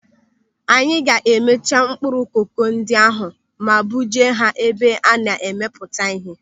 Anyị ga-emecha mkpụrụ koko ndị ahụ ma buje ha ebe a na-arụpụta ihe.